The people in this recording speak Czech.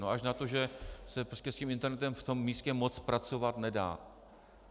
No až na to, že se prostě s tím internetem v tom místě moc pracovat nedá.